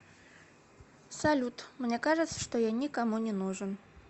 салют мне кажется что я никому не нужен